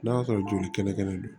N'a y'a sɔrɔ joli kɛnɛ kɛnɛ don